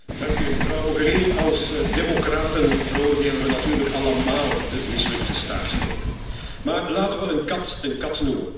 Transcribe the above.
Mevrouw Mogherini, als democraten veroordelen we natuurlijk allemaal de mislukte staatsgreep. Maar laten we een kat een kat noemen.